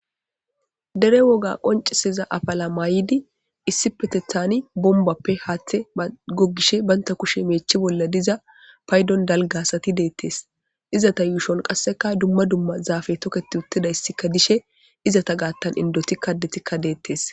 Dere woga qonciseza afala maayidi issi petethan bombappe haaththe gogishe baynta kushe meechi bolla diza paydon dalgasati deettes izata yuushon qasseka dumma dumma zaafe toketi uttidayssika dishe izata gaattan indoti kadetikka deettes.